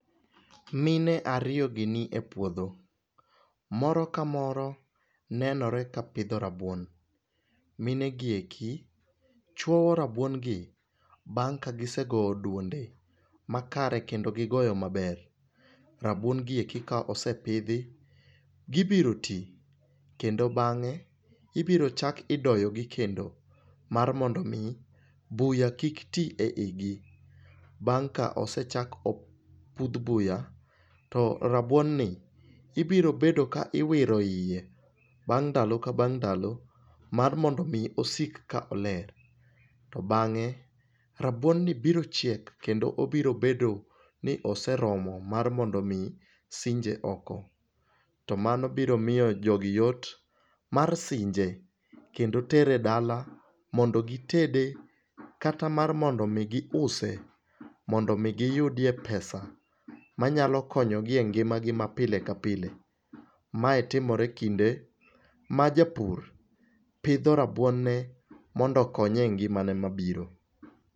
Mine ariyogi nie puodho, moro kamoro nenore kapidho rabuon. Mine gieki chuoyo rabuongi bang' ka gisegoyo duonde makare kendo gigoyo maber. Rabuon gieki kaosepidhi gibiro tii kendo bang'e ibiro chak idoyogi kendo mar mondomi buya kiktii e igi. Bang' ka osechak opudh buya to rabuon ni ibiro bedo ka iwiro iye bang' ndalo ka bang' ndalo mar mondomi osik ka oler. To bang'e rabuoni biro chiek kendo obiro bedo ni oseromo mar mondomi sinje oko. To mano biro miyo jogi yot mar sinje, kendo tere dala mondo gitede kata mar mondomi giuse, mondomi giyudie pesa manyalo konyogi e ngimagi mapile kapile. Mae timore kinde majapur pidho rabuon ne mondo okonye e ngimane mabiro.